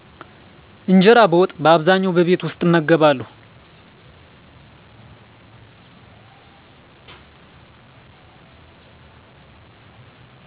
እንጀራ በወጥ በአብዛኛዉ በቤት ዉስጥ እመገባለዉ